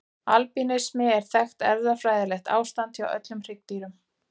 Albínismi er þekkt erfðafræðilegt ástand hjá öllum hryggdýrum.